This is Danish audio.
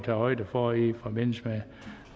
højde for i forbindelse